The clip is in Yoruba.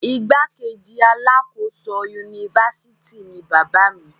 igbákejì alákòóso unifásitì ni bàbá mi